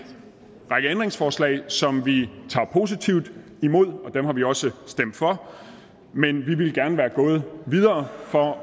række ændringsforslag som vi tager positivt imod og dem har vi også stemt for men vi ville gerne være gået videre for